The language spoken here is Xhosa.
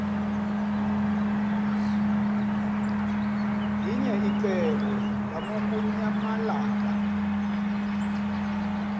linye icebo lamukunyamalala